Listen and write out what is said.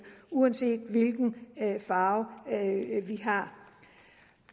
uanset hvilken farve vi har